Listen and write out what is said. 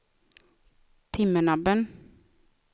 Timmernabben